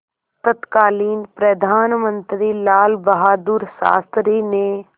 तत्कालीन प्रधानमंत्री लालबहादुर शास्त्री ने